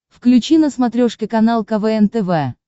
включи на смотрешке канал квн тв